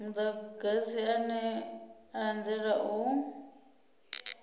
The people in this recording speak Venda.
mudagasi ane a anzela u